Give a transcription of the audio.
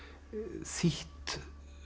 þýtt